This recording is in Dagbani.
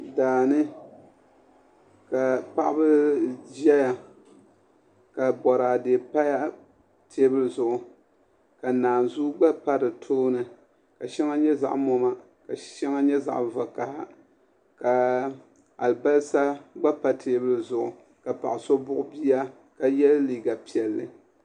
Daani ka paɣaba ʒɛya ka boraadɛ pa teebuli zuɣu ka naazuu gba pa di tooni ka shɛŋa nyɛ zaɣ moma ka shɛŋa nyɛ zaɣ vakaɣa ka alibarisa gba pa teebuli zuɣu ka paɣa so buɣu bia ka yɛ liiga piɛlli